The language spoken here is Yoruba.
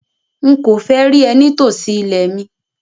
Nkọ fẹ́ rí ẹ̀ ní tó sí ilẹ̀ mi!